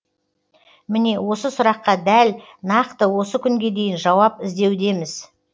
міне осы сұраққа дәл нақты осы күнге дейін жауап іздеудеміз